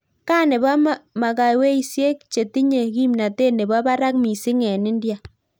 Kaa nepoo magawesiek chetinyee kimnatet nepoo parak mising eng India